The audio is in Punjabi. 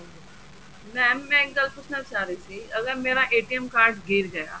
mam ਮੈਂ ਇੱਕ ਗੱਲ ਪੁੱਛਨਾ ਚਾਹ ਰਹੀ ਸੀ ਅਗਰ ਮੇਰਾ card ਗਿਰ ਗਿਆ